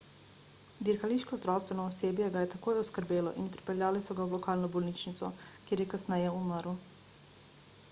dirkališko zdravstveno osebje ga je takoj oskrbelo in prepeljali so ga v lokalno bolnišnico kjer je kasneje umrl